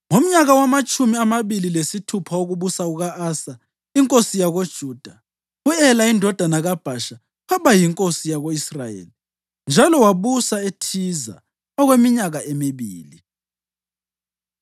Ngomnyaka wamatshumi amabili lesithupha wokubusa kuka-Asa inkosi yakoJuda, u-Ela indodana kaBhasha waba yinkosi yako-Israyeli njalo wabusa eThiza okweminyaka emibili.